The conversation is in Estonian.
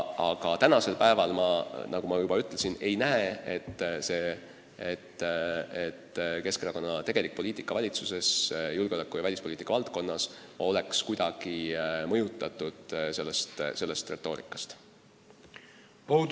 Aga tänasel päeval, nagu ma juba ütlesin, ma ei näe, et Keskerakonna tegelik poliitika valitsuses julgeoleku- ja välispoliitika valdkonnas oleks kuidagi sellest retoorikast mõjutatud.